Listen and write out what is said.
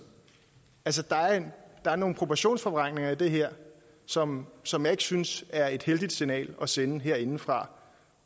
der er noget proportionsforvrængning i det her som som jeg ikke synes er et heldigt signal at sende herindefra